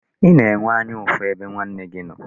Ị na-enwe anya ụfụ ebe nwanne gị nọ?